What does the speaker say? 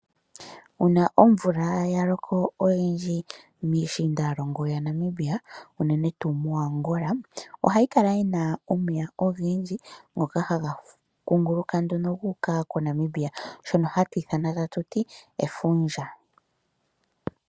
Uuna omvula ya loko oyindji miishiindalongo yaNamibia unene tuu moAngola ohayi kala yina omeya ogendji ngoka haga kunguluka nduno guuka moNamibia shoka hatu ithana efundja.